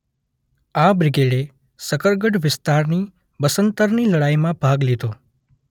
આ બ્રિગેડે શકરગઢ વિસ્તારની બસન્તરની લડાઈમાં ભાગ લીધો.